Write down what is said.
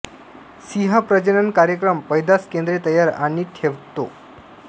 सिंह प्रजनन कार्यक्रम पैदास केंद्रे तयार आणि ठेवतो